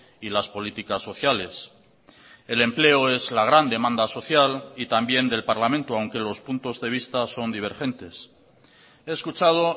y las políticas sociales el empleo es la gran demanda social y también del parlamento aunque los puntos de vista son divergentes he escuchado